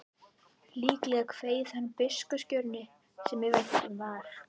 Líklega kveið hann biskupskjörinu sem í vændum var.